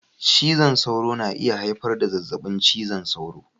Cizon sauro na iya haifar da zazzabin cizon sauro.